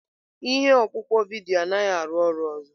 Ihe ọkpụkpọ vidiyo anaghị arụ ọrụ ọzọ.